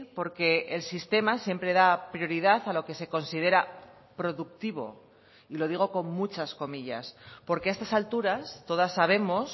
porque el sistema siempre da prioridad a lo que se considera productivo y lo digo con muchas comillas porque a estas alturas todas sabemos